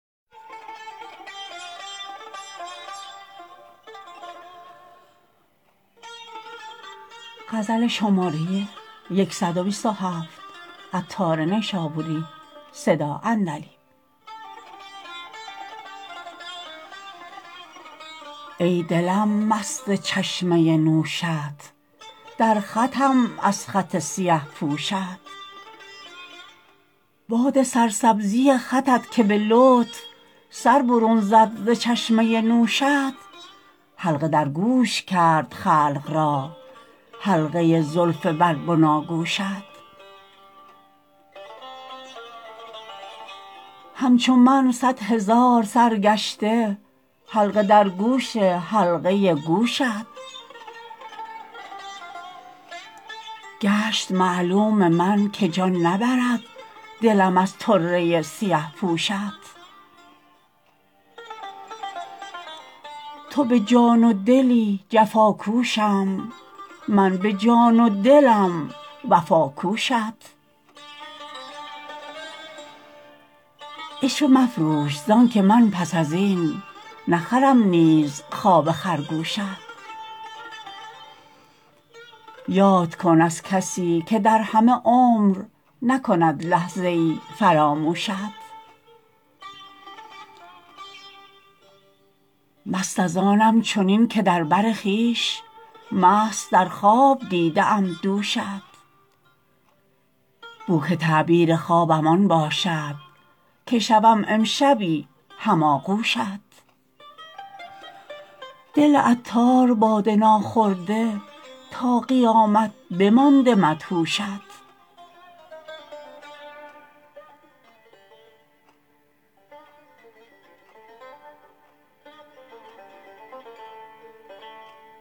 ای دلم مست چشمه نوشت در خطم از خط سیه پوشت باد سرسبزی خطت که به لطف سر برون زد ز چشمه نوشت حلقه در گوش کرد خلقی را حلقه زلف بر بناگوشت همچو من صد هزار سرگشته حلقه در گوش حلقه گوشت گشت معلوم من که جان نبرد دلم از طره سیه پوشت تو به جان و دلت جفاکوشی من به جان و دلم وفاکوشت عشوه مفروش زانکه من پس ازین نخرم نیز خواب خرگوشت یاد کن از کسی که در همه عمر نکند لحظه ای فراموشت مست از آنم چنین که در بر خویش مست در خواب دیده ام دوشت بو که تعبیر خوابم آن باشد که شوم امشبی هم آغوشت دل عطار باده ناخورده تا قیامت بمانده مدهوشت